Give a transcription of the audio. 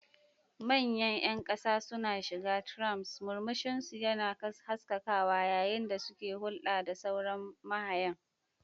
Manyan ƴan ƙasa suna shiga trams, murmushinsu yana haskakawa yayin da suke hulɗa da sauran mahayan.